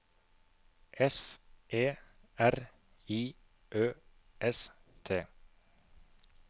S E R I Ø S T